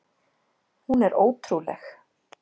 Hún er ótrúleg!